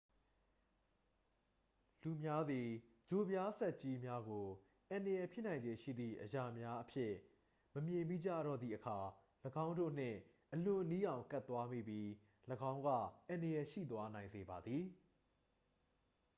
လူများသည် ချိုပြားဆတ်ကြီးများကို အန္တရာယ်ဖြစ်နိုင်ခြေရှိသည့်အရာများအဖြစ် မမြင်မိကြတော့သည့်အခါ ၎င်းတို့နှင့် အလွန်နီးအောင် ကပ်သွားမိပြီး ၎င်းကအန္တရာယ်ရှိသွားနိုင်စေပါသည်